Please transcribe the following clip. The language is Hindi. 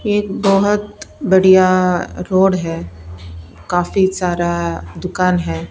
एक बहुत बढ़िया रोड है काफी सारा दुकान है ।